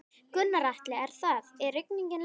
Gunnar Atli: Er það, er rigningin leiðinleg?